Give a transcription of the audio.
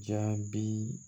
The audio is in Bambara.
Jaabi